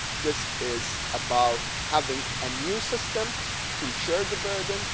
This is about having a new system to share the burden.